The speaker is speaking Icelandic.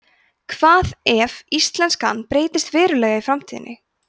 hvað ef íslenskan breytist verulega í framtíðinni